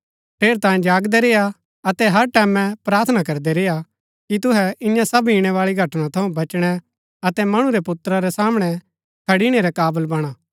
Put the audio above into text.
ठेरैतांये जागदै रेआ अतै हर टैमैं प्रार्थना करदै रेआ कि तुहै ईयां सब ईणैबाळी घटना थऊँ बचणै अतै मणु रै पुत्रा रै सामणै खड़णी रै काबल वणा